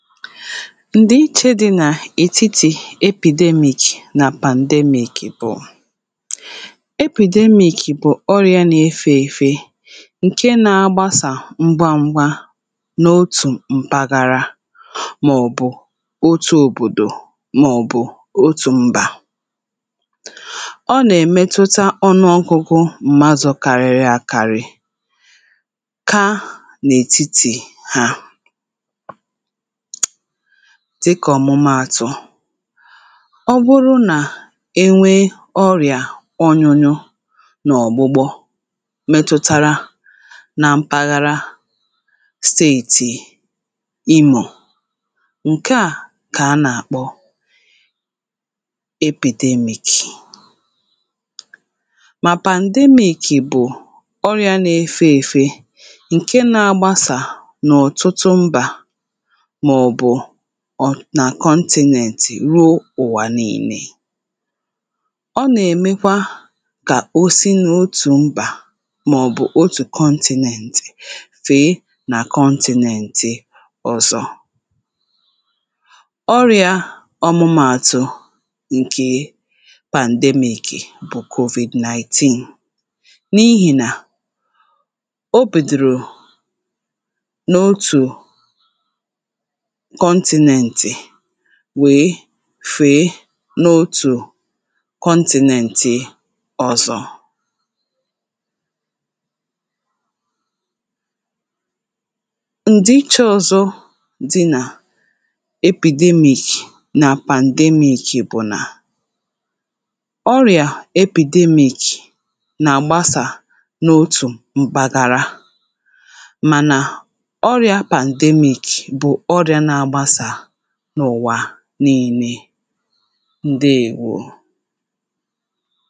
ǹdìiche dị̇ nà ètitì epidemic nà pandemic bụ̀ [paues]epidemic bụ̀ ọrịȧ nȧ-ėfe èfe ǹke nȧ-agbasà ngwangwȧ n’otù m̀paghara màọ̀bụ̀ otu òbòdò màọ̀bụ̀ otù m̀bà.ọ nà-èmetuta ọnụ ọgụgụ mmadụ kariri àkari[paues] kaa n’ètitì ha [paues]dịkà ọ̀mụmaàtụ̀ ọ bụrụ nà enwee ọrị̀à ọnyụnyụ nà ọ̀gbụgbọ metụtara na mpaghara steeti imo ǹke à kà a nà-àkpọ[paues]epidemic ma [C's]pandemic bụ̀ ọrịȧ na-efe èfe ǹke na-agbasà n’ọ̀tụtụ mbà ma ọbu ọ nà kọntìnẹ̇nẹ̇tị̀ ruo ụ̀wà nille. ọ nà ẹ̀mẹkwa kà òsi nà otù mbà màọ̀bụ̀ otù kọntìnẹ̇nẹ̇tị̀ fèe nà kọntìnẹ̇nẹ̇tị̇ ọzọ. ọrị̇ȧ ọmụmȧ atụ nke pandemic bụ̀ covid-19 n’ihì nà o bidoro um n’otù um kontinenti wèe fèe n’òtù kọntìnèntì ọ̀zọ́[paues] Ndị iche ọzọ dị na epidermic na pandermic bu na ọrịa epidermic na agbasa n'otu mpaghara mana ọrịa pandermic bu ọrịa na agbasa n'ụwa n’ille ǹdeèwo